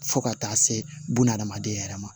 Fo ka taa se bunahadamaden yɛrɛ ma